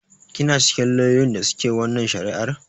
Kina cikin lauyoyin da su ke wannan shari'ar?